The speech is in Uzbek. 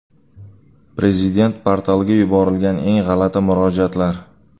Prezident portaliga yuborilgan eng g‘alati murojaatlar.